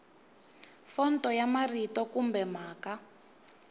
fonto ya marito kumbe mhaka